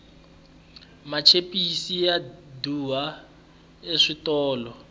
machipisi ya durha eswitolo